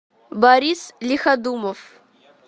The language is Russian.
борис лиходумов